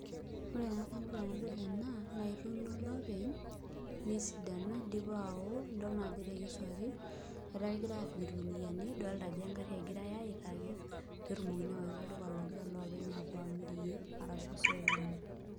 Ore tenajadol ena naa ketuuno olopeny nesidanu idioa awo idol naa ajo etekeswaki etaa kegirai aapik ilkunuyiani, idolita ajo engarhi egirai aitaki peetumoki awaita olduka logira loopeny apuo amirie arashu osokoni